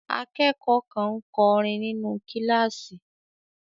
Akẹ́kọ̀ọ́ kan ń kọrin nínú kíláàsì.